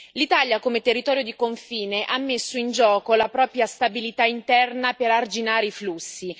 L'Italia come territorio di confine ha messo in gioco la propria stabilità interna per arginare i flussi.